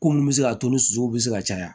Ko mun bɛ se ka to ni sosow bɛ se ka caya